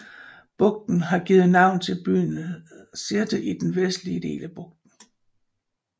Bugten har givet navn til byen Sirte i den vestlige del af bugten